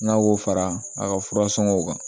N'a y'o fara a ka fura sɔngɔw kan